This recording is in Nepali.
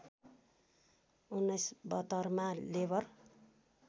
१९७२ मा लेबर